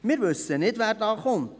Wir wissen nicht, wer da kommt.